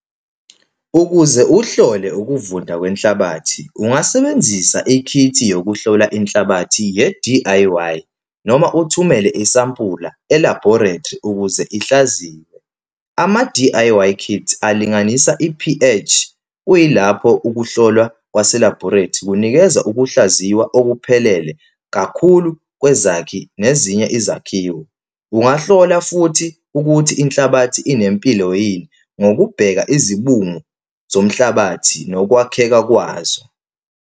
Ukuze uhlole ukuvunda kwenhlabathi, ungasebenzisa ikhithi yokuhlola inhlabathi ye-D_I_Y, noma uthumele isampula e-laboratory, ukuze ihlaziye. Ama-D_I_Y kits alinganisa e-P_H, kuyilapho ukuhlolwa kwase-laboratory kunikeza ukuhlaziywa okuphelele kakhulu kwezakhi nezinye izakhiwo. Ungahlola futhi ukuthi inhlabathi inempilo yini, ngokubheka izibungu zomhlabathi nokwakheka kwazo.